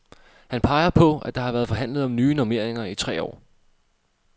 Han peger på, at der har været forhandlet om nye normeringer i tre år.